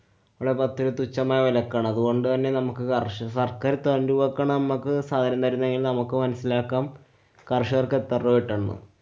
തുച്ഛമായ വിലക്കാണ്. അതുകൊണ്ടുതന്നെ നമുക്ക് കാര്‍ഷ~ സര്‍ക്കാര്‍ വക്കണ മ്മക്ക് സഹായം തരുന്നേല്‍ നമുക്ക് മനസ്സിലാക്കാം കര്‍ഷകര്‍ക്കെത്ര രൂപ കിട്ടുന്നുണ്ടെന്ന്.